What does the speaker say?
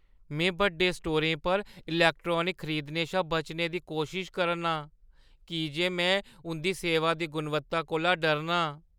में बड्डे स्टोरें पर इलैक्ट्रॉनिक्स खरीदने शा बचने दी कोशश करना आं की जे में उंʼदी सेवा दी गुणवत्ता कोला डरनां।